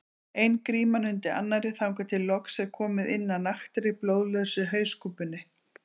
Ein gríman undir annarri þangað til loks er komið inn að naktri, blóðlausri hauskúpunni.